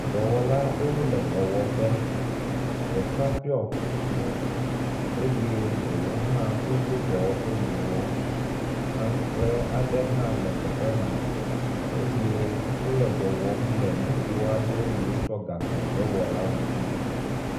dɔwɔla aɖewo le dɔwɔƒe. Ɖeka ɖɔ kuku eyey ɖewo hã wodo dɔwɔƒewu. Antrɔe aɖe hã le teƒe ma eye wo le dɔwɔm la nugo aɖe yi wotsɔ gakpo hewɔ ŋuti.